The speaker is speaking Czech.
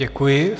Děkuji.